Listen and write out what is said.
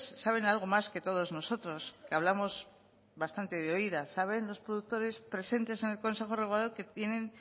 saben algo más que todos nosotros que hablamos bastante de oídas saben los productores presentes en el consejo regulador que tienen